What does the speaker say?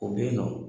O bɛ yen nɔ